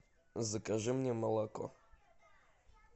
закажи мне молоко